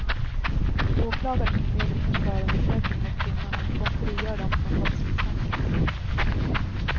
Åklagaren inleder ingen förundersökning mot kvinnorna utan frigör dem från brottsmisstanke.